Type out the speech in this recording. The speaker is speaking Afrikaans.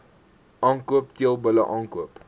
aankoop teelbulle aankoop